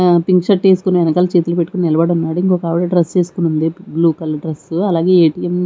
ఆమె pink shirt వేసుకొని వెనకాల చేతులు పట్టుకుని నిలబడి ఉన్నాడు ఇంకా ఒక ఆవిడ డ్రెస్ యేసుకొని ఉంది బ్లూ కలర్ డ్రెస్ అలాగే ఏ_టి_ఎం --